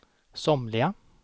somliga